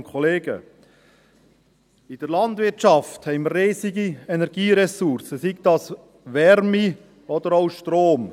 In der Landwirtschaft haben wir riesige Energieressourcen, seien sie Wärme oder auch Strom.